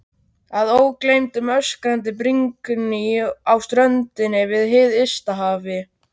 Að ógleymdum öskrandi brimgný á ströndinni við hið ysta haf.